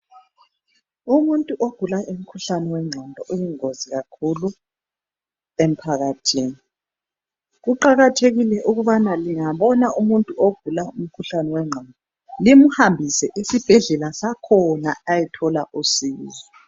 Umuntu ogula umkhuhlane wenqondo uyingozi kakhulu emphakathini. Kuqakathekile ukuthi lingabona umuntu ogula umkhuhlane wenqondo limhambise esibhedlela sakhona ayethola usizo.